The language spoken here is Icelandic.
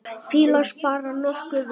Fílast bara nokkuð vel.